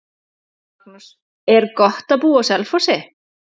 Magnús: Er gott að búa á Selfossi?